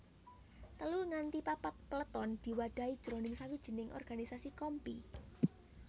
Telu nganti papat peleton diwadhahi jroning sawijining organisasi kompi